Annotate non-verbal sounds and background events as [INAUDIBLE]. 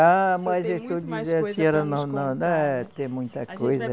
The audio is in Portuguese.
Ah, mas [UNINTELLIGIBLE] ah tem muita coisa.